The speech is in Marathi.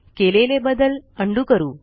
केलेले बदल उंडो करू